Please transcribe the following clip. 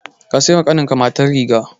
Ka sai wa ƙannenka mata rigar.